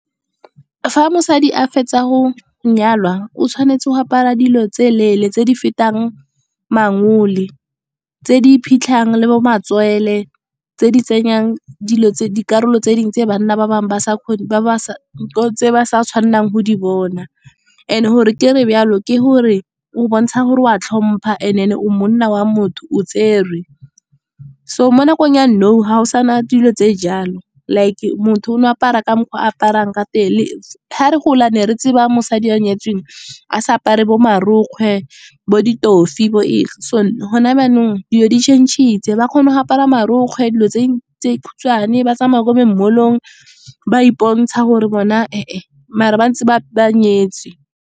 Fa mosadi a fetsa go nyalwa o tshwanetse go apara dilo tse leele, tse di fetang mangole. Tse di iphitlhang le bo matswele, tse di tsenyang di karolo tse dingwe tse banna ba bangwe ba sa tshwanelang go di bona. And gore kere jalo ke gore o bontsha gore wa tlhomphaan then o monna wa motho, o tserwe. So mo nakong ya nou ga go sana dilo tse jalo, like motho o no apara ka mokgwa aparang ka teng. Ga re gola ne re tseba mosadi a nyetsweng a sa apare bo marokgwe, bo ditofi, gone jaanong dilo di change-ile. Ba kgona go apara marokgwe dilo tse di khutshwane, ba tsamaya kwa di-mall-ong, ba ipontsha gore bona mare ba ntse ba nyetswe.